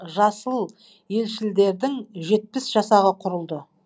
жасыл елшілдердің жетпіс жасағы құрылды